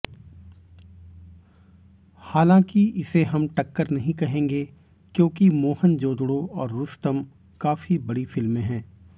हालांकि इसे हम टक्कर नहीं कहेंगे क्योंकि मोहनजोदड़ो और रूस्तम काफी बड़ी फिल्में हैं